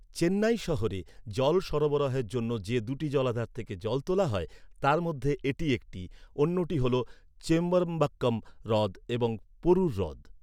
চেন্নাই শহরে জল সরবরাহের জন্য যে দুটি জলাধার থেকে জল তোলা হয় তার মধ্যে এটি একটি, অন্যটি হল চেম্বরমবাক্কম হ্রদ এবং পোরুর হ্রদ।